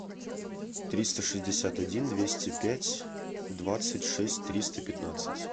триста шестьдесят один двести пять двадцать шесть триста пятнадцать